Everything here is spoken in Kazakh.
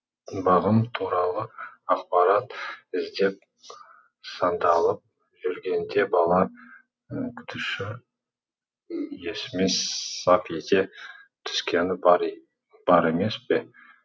бағым туралы ақпарат іздеп сандалып жүргенде бала күтуші есіме сап ете түскені бар емес пе